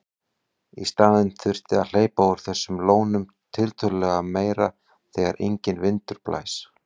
Í staðinn þyrfti að hleypa úr þessum lónum tiltölulega meira þegar enginn vindur blæs.